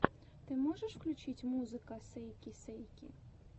ты можешь включить музыка сейки сейки